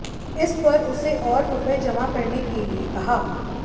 इस पर उसे और रुपए जमा करने के लिए कहा